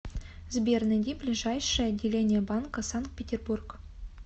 сбер найди ближайшее отделение банка санкт петербург